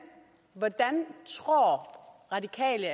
hvordan tror radikale